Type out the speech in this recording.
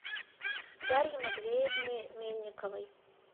дарье матвеевне мельниковой